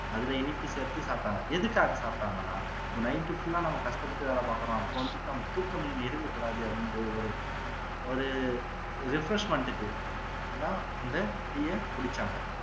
அதுல இனிப்பு சேத்து சாப்பிடாங்க எதுக்காக சாப்பிட்டாங்கன்னா night full ஆ நம்ம கஷ்டப்பட்டு வேலை பாக்குறோம் அப்போ வந்துட்டு நமக்கு தூக்கமின்மை இருக்கக்கூடாது அப்படின்றது ஒரு ஒரு refreshment க்கு தான் அந்த tea அ குடிச்சாங்க